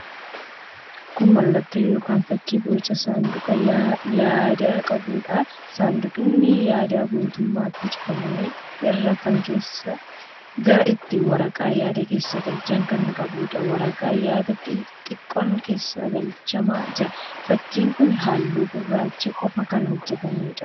Kun mallattoo yookiin fakkii boca saanduqa yaadaa qabuudha. Saanqudni yaadaa guutummaatti cufamee irra keessaan karaa ittiin waraqaa yaadaa keessa galchan kan qabuudha. Waraqaa yaadaa xiqqoon keessa galchamaa jira. Fakkiin kun halluu gurraacha qofaan kan hojjetameedha.